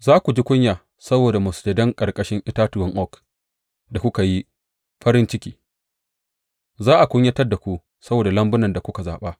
Za ku ji kunya saboda masujadan ƙarƙashin itatuwan oak da kuka yi farin ciki; za a kunyata ku saboda lambun da kuka zaɓa.